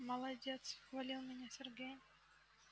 молодец хвалил меня сергей